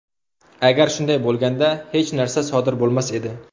Agar shunday bo‘lganda, hech narsa sodir bo‘lmas edi.